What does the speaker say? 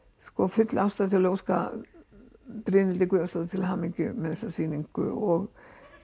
full ástæða til að óska Brynhildi Guðjónsdóttur til hamingju með þessa sýningu og